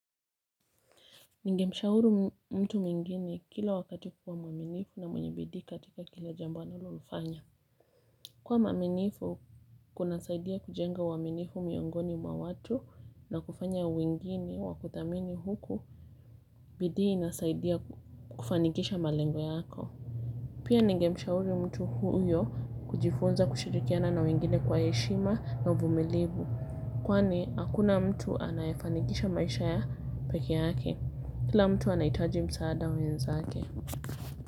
Nige mshauru mtu mwingine kila wakati kuwa mwaminifu na mwenye bidii katika kila jambo analo lifanya. Kuwa mwaminifu kuna saidia kujenga uaminifu miongoni mwa watu na kufanya wengine wakuthamini huku bidi inasaidia kufanikisha malengo yako. Pia nige mshauru mtu huyo kujifunza kushirikiana na wengine kwa heshima na uvumilivu. Kwani, hakuna mtu anayefanikisha maisha peke yake. Kila mtu anaitaji msaada wenza ake.